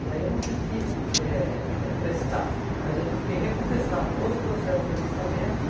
E aí eu não tive que eh eh prestar, mas eu tive que recomeçar todo o processo de alistamento.